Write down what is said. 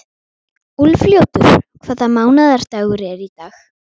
Úlfljótur, hvaða mánaðardagur er í dag?